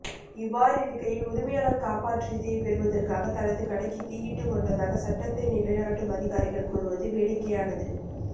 இவ்வாறிருக்கையில் உரிமையாளர் காப்புறுதியைப் பெறுவதற்காக தனது கடைக்கு தீயிட்டுக் கொண்டதாக சட்டத்தை நிலைநாட்டும் அதிகாரிகள் கூறுவது வேடிக்கையானது